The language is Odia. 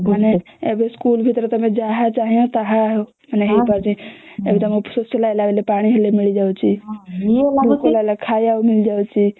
ମାନେ ଏବେ school ଭିତରେ ତମେ ଯାହା ଚାହିଁବା ତାହା ମାନେ ହେଇ ପାରୁଛି ଏଇ ଶୋଷ ଲାଗିଲା ବୋଲି ପାଣି ମିଳି ଯାଉଛି ଭୋକ ଲାଗିଲା ଖାଇଅକୁ ମିଳି ଯାଉଛି